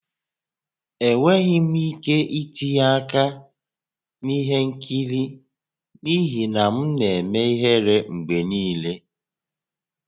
Enweghị m ike itinye aka na ihe nkiri n'ihi na m na-eme ihere mgbe niile